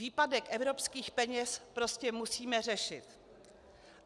Výpadek evropských peněz prostě musíme řešit.